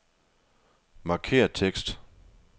Markér tekst.